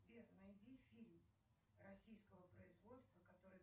сбер найди фильм российского производства который